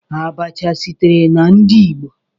Abacha sitere na ndi igbo.